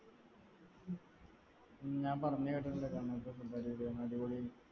ഞാൻ പറഞ്ഞു കേട്ടിട്ടുണ്ട് കണ്ണൂർ ത്തെ food അടിപൊളിയാന്ന് അടിപൊളി